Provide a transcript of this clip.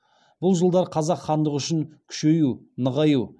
бұл жылдар қазақ хандығы үшін күшею нығаю